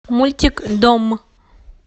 мультик дом